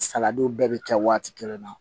Saladiw bɛɛ bɛ kɛ waati kelen na